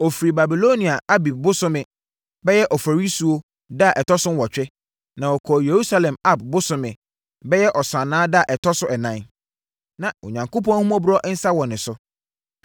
Ɔfirii Babilonia Abib bosome (bɛyɛ Oforisuo) da a ɛtɔ so nwɔtwe, na ɔkɔɔ Yerusalem Ab bosome (bɛyɛ Ɔsannaa) da a ɛtɔ so ɛnan. Na Onyankopɔn ahummɔborɔ nsa wɔ ne so.